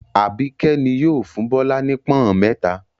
Àbíkẹ́ ni yóò fún Bọ́lá ní pọ́ń-ọ̀n mẹ́ta.